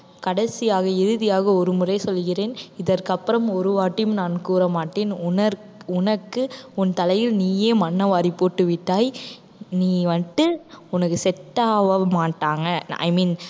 கடைசியாக இறுதியாக ஒருமுறை சொல்கிறேன். இதற்கு அப்புறம் ஒரு வாட்டியும் நான் கூற மாட்டேன். உன~ உனக்கு உன் தலையில் நீயே மண்ணை வாரி போட்டு விட்டாய் நீ வந்துட்டு உனக்கு set ஆக மாட்டாங்க i mean